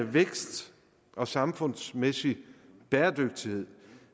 vækst og samfundsmæssig bæredygtighed